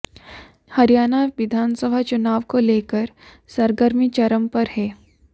हरियाणा विधानसभा चुनाव को लेकर सरगर्मी चरम पर है